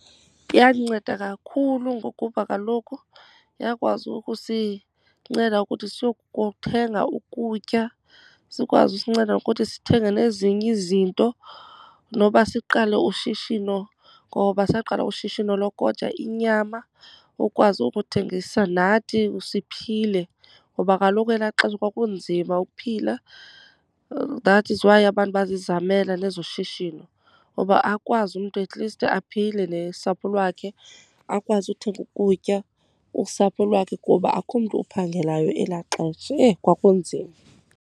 Yandinceda kakhulu ngokuba kaloku yakwazi ukusinceda ukuthi siyokuthenga ukutya, sikwazi usinceda ngokuthi sithenge nezinye izinto, noba siqale ushishino. Ngoba saqala ushishino lokoja inyama, ukwazi ukuthengisa nathi siphile. Ngoba kaloku elaa xesha kwakunzima ukuphila, that is why abantu bazizamela nezoshishino. Uba akwazi umntu at least aphile nosapho lwakhe. Akwazi uthenga ukutya usapho lwakhe, kuba akukho mntu uphangelayo elaa xesha. Eyi kwakunzima.